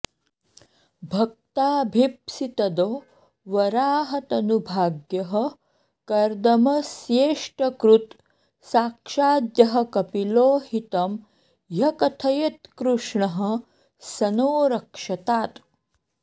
भक्ताभीप्सितदो वराहतनुभाग्यः कर्दमस्येष्टकृत् साक्षाद्यः कपिलो हितं ह्यकथयत्कृष्णः स नो रक्षतात्